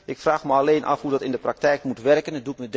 Ik vraag me alleen af hoe dat in de praktijk moet werken.